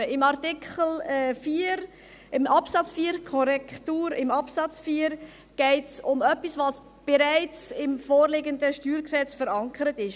Im Absatz 4 geht es um etwas, was bereits im vorliegenden StG verankert ist.